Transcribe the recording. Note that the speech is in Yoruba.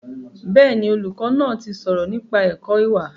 Bẹ́ẹ̀ni, olùkọ́ náà ti sọ̀rọ̀ nípa ẹ̀kọ́ ìwà